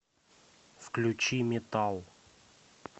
включи метал